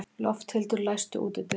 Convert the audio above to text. Lofthildur, læstu útidyrunum.